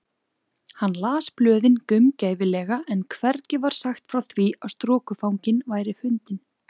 Hann las blöðin gaumgæfilega en hvergi var sagt frá því að strokufanginn væri fundinn.